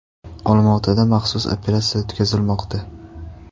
Olmaotada maxsus operatsiya o‘tkazilmoqda.